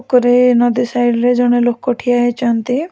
ଓକରେ ନଦୀ ସାଇଟ ରେ ଜଣେ ଲୋକ ଠିଆ ହେଇଛନ୍ତି ।